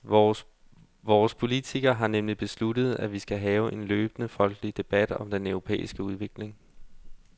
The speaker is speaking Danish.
Vores politikere har nemlig besluttet, at vi skal have en løbende folkelig debat om den europæiske udvikling.